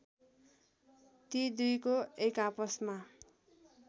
ती दुईको एकआपसमा